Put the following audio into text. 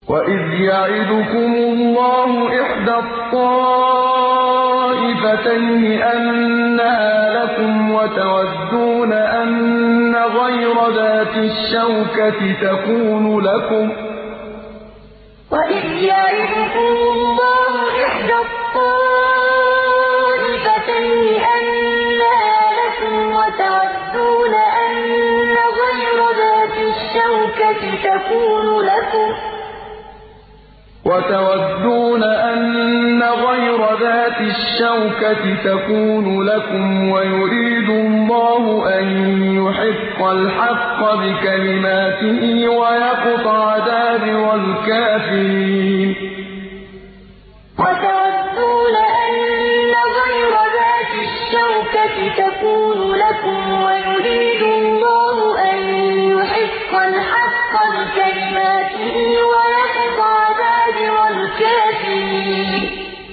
وَإِذْ يَعِدُكُمُ اللَّهُ إِحْدَى الطَّائِفَتَيْنِ أَنَّهَا لَكُمْ وَتَوَدُّونَ أَنَّ غَيْرَ ذَاتِ الشَّوْكَةِ تَكُونُ لَكُمْ وَيُرِيدُ اللَّهُ أَن يُحِقَّ الْحَقَّ بِكَلِمَاتِهِ وَيَقْطَعَ دَابِرَ الْكَافِرِينَ وَإِذْ يَعِدُكُمُ اللَّهُ إِحْدَى الطَّائِفَتَيْنِ أَنَّهَا لَكُمْ وَتَوَدُّونَ أَنَّ غَيْرَ ذَاتِ الشَّوْكَةِ تَكُونُ لَكُمْ وَيُرِيدُ اللَّهُ أَن يُحِقَّ الْحَقَّ بِكَلِمَاتِهِ وَيَقْطَعَ دَابِرَ الْكَافِرِينَ